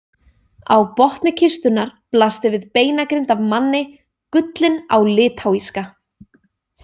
Á botni kistunnar blasti við beinagrind af manni, gullin á litáíska.